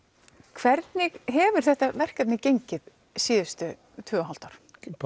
hvernig hefur þetta verkefni gengið síðustu tvö og hálft ár